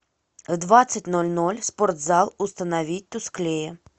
в двадцать ноль ноль спортзал установить тусклее